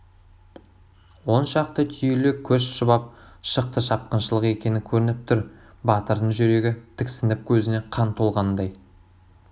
он шақты түйелі көш шұбап шықты шапқыншылық екені көрініп тұр батырдын жүрегі тіксініп көзіне қан толғандай